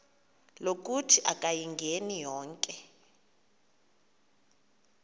lokuthi akayingeni konke